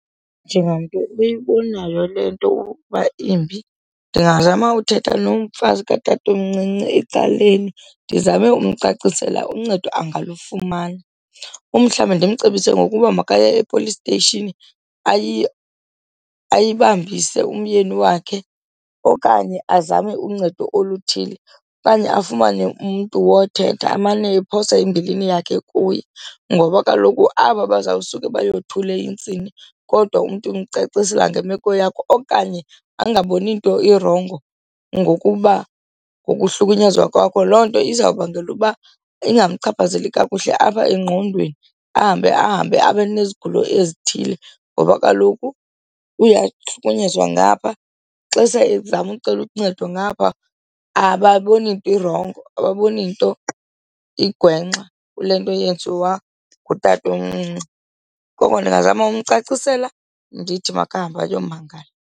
Njengamntu oyibonayo le nto ukuba imbi ndingazama uthetha nomfazi katatomncinci ecaleni, ndizame ukumcacisela uncedo angalufumana. Umhlawumbi ndimcebise ngokuba makaye e-police station ayibambise umyeni wakhe okanye azame uncedo oluthile okanye afumane umntu wothetha amane ephosa imbilini yakhe kuye. Ngoba kaloku aba bazawusuke bayothule intsini kodwa umntu umcacisela ngemeko yakho okanye angaboni nto irongo ngokuba ngokuhlukunyezwa kwakho, loo nto izawubangela uba ingamchaphazeli kakuhle apha engqondweni, ahambe ahambe abanezigulo ezithile. Ngoba kaloku uyahlukunyezwa ngapha ixesha ezama ukucela uncedo ngapha ababoni nto irongo, ababoni nto igwenxa kule nto yenziwa ngutatomncinci. Koko ndingazama ukumcacisela ndithi makahambe ayomangala.